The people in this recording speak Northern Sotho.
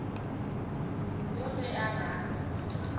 yoo ge a rata a